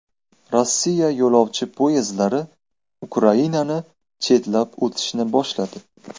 Rossiya yo‘lovchi poyezdlari Ukrainani chetlab o‘tishni boshladi.